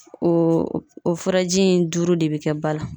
O o furaji in duuru de bɛ kɛ ba la.